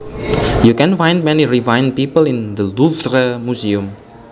You can find many refined people in the Louvre museum